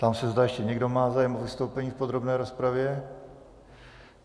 Ptám se, zda ještě někdo má zájem o vystoupení v podrobné rozpravě.